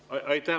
Aitäh!